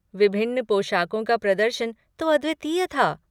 विभिन्न पोशाकों का प्रदर्शन तो अद्वितीय था।